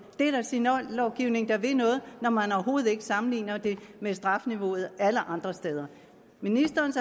det er da signallovgivning der vil noget når man overhovedet ikke sammenligner det med strafniveauet alle andre steder ministerens